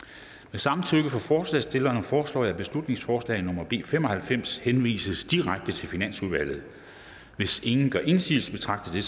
samtykke fra forslagsstillerne foreslår jeg at beslutningsforslag nummer b fem og halvfems henvises direkte til finansudvalget hvis ingen gør indsigelse betragter